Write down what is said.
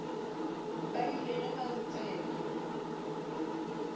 ba ile ge ba tsena